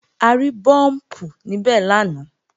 A rí búùmpù níbẹ̀ lánàá